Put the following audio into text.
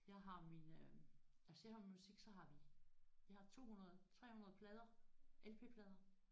Jeg har min øh altså jeg har min musik så har vi vi har 200 300 plader LP-plader